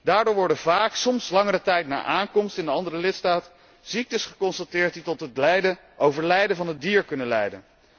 Daardoor worden vaak, soms langere tijd na aankomst in de andere lidstaat, ziektes geconstateerd die tot het overlijden van het dier kunnen leiden.